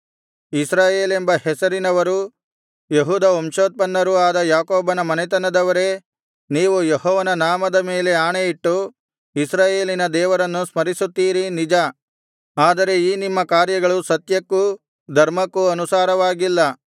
ಇಸ್ರಾಯೇಲೆಂಬ ಹೆಸರಿನವರೂ ಯೆಹೂದ ವಂಶೋತ್ಪನ್ನರೂ ಆದ ಯಾಕೋಬನ ಮನೆತನದವರೇ ನೀವು ಯೆಹೋವನ ನಾಮದ ಮೇಲೆ ಆಣೆಯಿಟ್ಟು ಇಸ್ರಾಯೇಲಿನ ದೇವರನ್ನು ಸ್ಮರಿಸುತ್ತೀರಿ ನಿಜ ಆದರೆ ಈ ನಿಮ್ಮ ಕಾರ್ಯಗಳು ಸತ್ಯಕ್ಕೂ ಧರ್ಮಕ್ಕೂ ಅನುಸಾರವಾಗಿಲ್ಲ